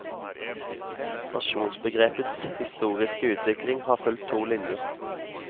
Nasjonsbegrepets historiske utvikling har fulgt to linjer.